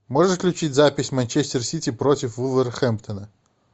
можешь включить запись манчестер сити против вулверхэмптона